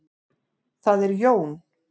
Það er Jón.